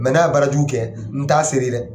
Mɛ n'a ya baara jugu kɛ, , n t'a seere dɛ.